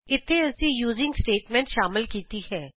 ਇਥੇ ਅਸੀਂ using statement ਸ਼ਾਮਿਲ ਕੀਤੀ ਹੈ